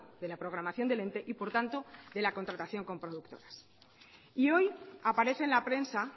de la programación del ente y por tanto de la contratación con productoras y hoy aparece en la prensa